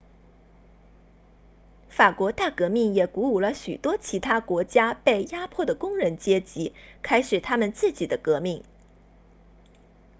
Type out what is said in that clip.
法国大革命也鼓舞了许多其他国家被压迫的工人阶级开始他们自己的革命